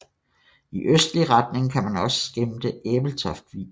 I østlig retning kan man også skimte Ebeltoft Vig